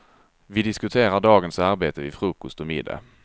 Vi diskuterar dagens arbete vid frukost och middag.